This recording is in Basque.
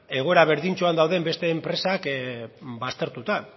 egoera berdintsua dauden beste enpresak baztertuta